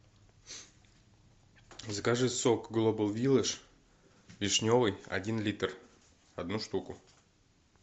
закажи сок глобал виладж вишневый один литр одну штуку